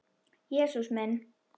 Jesús minn!